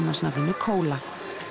nafninu Kóla